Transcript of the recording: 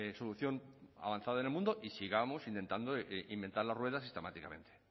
solución avanzada en el mundo y sigamos intentando inventar las ruedas sistemáticamente